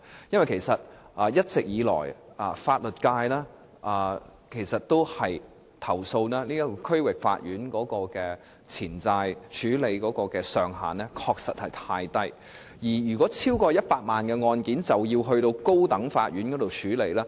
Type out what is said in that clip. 一直以來，法律界投訴區域法院在處理錢債方面的權限過低，因為所涉款額超過100萬元的案件，均須交由高等法院處理。